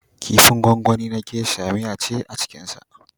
Kifin gwangwani na gesha (geisha) miya ce a cikinsa.